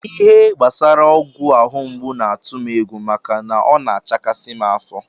Ihe gbasara ọgwụ ahụ mgbu na-atụ m egwu maka na ọ na-achakasị m afọ